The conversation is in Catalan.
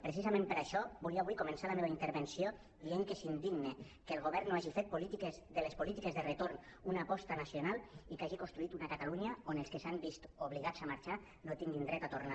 precisament per això volia avui començar la meva intervenció dient que és indigne que el govern no hagi fet de les polítiques de retorn una aposta nacional i que hagi construït una catalunya on els que s’han vist obligats a marxar no tinguin dret a tornar